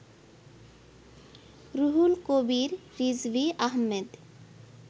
Ruhul Kabir Rizvi Ahmed